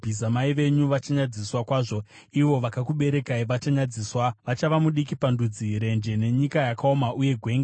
mai venyu vachanyadziswa kwazvo; ivo vakakuberekai vachanyadziswa. Vachava mudiki pandudzi, renje, nenyika yakaoma, uye gwenga.